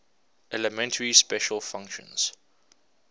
elementary special functions